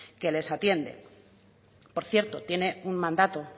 que les atienden por cierto tiene un mandato